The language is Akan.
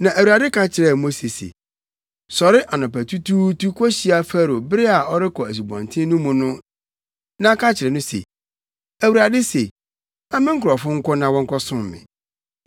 Na Awurade ka kyerɛɛ Mose se, “Sɔre anɔpatutuutu kohyia Farao bere a ɔrekɔ asubɔnten no mu no na, ka akyerɛ no se, ‘ Awurade se: Ma me nkurɔfo nkɔ na wɔnkɔsom me.